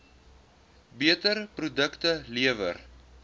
beter produkte lewer